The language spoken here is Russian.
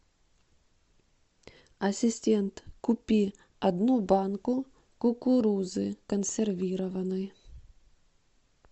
ассистент купи одну банку кукурузы консервированной